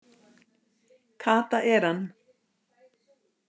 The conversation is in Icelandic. Kata er hann!